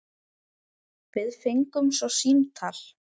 Við fengum svo símtal.